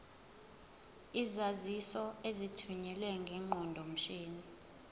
izaziso ezithunyelwe ngeqondomshini